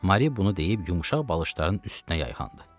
Mari bunu deyib yumşaq balışların üstünə yayxandı.